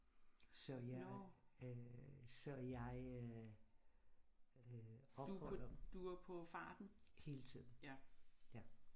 Så jeg øh så jeg øh opholder